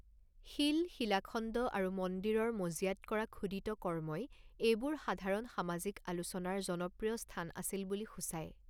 শিল, শিলাখণ্ড আৰু মন্দিৰৰ মজিয়াত কৰা খোদিত কৰ্মই এইবোৰ সাধাৰণ সামাজিক আলোচনাৰ জনপ্ৰিয় স্থান আছিল বুলি সূচায়।